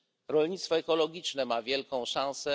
Rolnictwo ekologiczne ma wielką szansę.